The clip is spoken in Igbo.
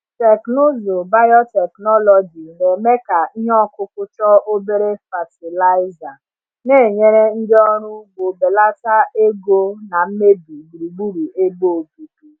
Teknụzụ biotechnology na-eme ka ihe ọkụkụ chọọ obere fatịlaịza, na-enyere ndị ọrụ ugbo belata ego na mmebi gburugburu ebe obibi.